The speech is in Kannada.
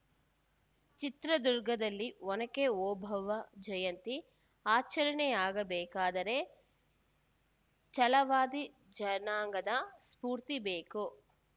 ಚಿತ್ರದುರ್ಗದಲ್ಲಿ ಒನಕೆ ಓಬವ್ವ ಜಯಂತಿ ಆಚರಣೆಯಾಗಬೇಕಾದರೆ ಛಲವಾದಿ ಜನಾಂಗದ ಸ್ಪೂರ್ತಿ ಬೇಕು